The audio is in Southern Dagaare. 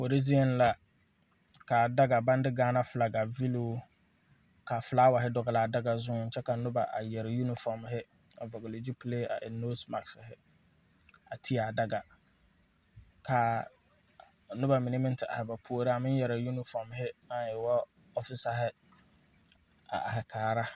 Kuori zieŋ la, ka a daga baŋ de gaana fly vilooŋ ka filaaware dɔɔli a daga zuiŋ, kyɛ ka noba a yɛrɛ uniform a vɔlee zupilee a eŋ nose mark,a di a daga kaa noba mine meŋ te are ba puoriŋ a yɛrɛ uniform naŋ e ŋa ɔfesare are kaa